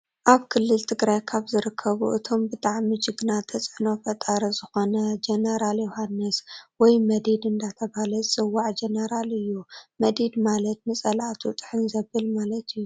ኣብ ክልል ትግራይ ካበ ዝርከቡ እቶም ብጣዕሚ ጅግና ተፅዕኖ ፈጣሪ ዝኮነ ጀነራል ዮውሃን(መዲድ) እንዳተባሃለ ዝፅዋዕ ጀነራል እዩ። መዲድ ማለት ንፀላእቱ ጥሕን ዘብል ማለት እዩ።